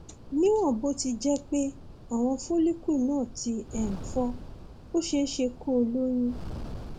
níwọn bó ti jẹ pé àwọn follicle náà ti um fọ ó ṣeé ṣe kó o lóyún